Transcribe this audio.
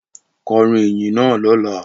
Kọrin iyin naa lọla!